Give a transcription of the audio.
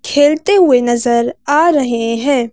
खेलते हुए नजर आ रहे हैं।